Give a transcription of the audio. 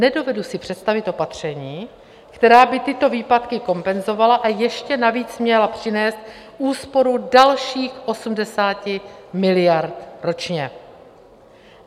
Nedovedu si představit opatření, která by tyto výpadky kompenzovala, a ještě navíc měla přinést úsporu dalších 80 miliard ročně.